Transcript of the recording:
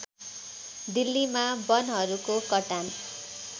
दिल्लीमा वनहरूको कटान